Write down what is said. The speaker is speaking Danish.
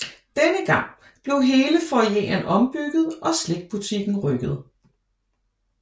Denne gang blev hele foyeren ombygget og slikbutikken rykket